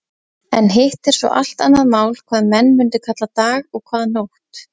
En hitt er svo allt annað mál hvað menn mundu kalla dag og hvað nótt.